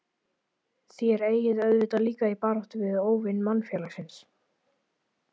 Þér eigið auðvitað líka í baráttu við óvini mannfélagsins?